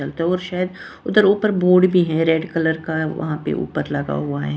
शायद उधर ऊपर बोर्ड भी है रेड कलर का वहां पे ऊपर लगा हुआ है।